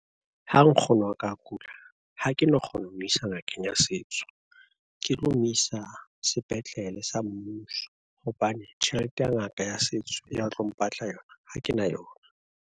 Ha nkgono wa ka a kula, ha ke no kgona ho mo isa ngakeng ya setso, ke tlo mo isa sepetlele sa mmuso, hobane tjhelete ya ngaka ya setso ya tlo mpatla yona ha ke na yona.